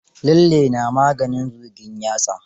Lalle na maganin zugin yatsa.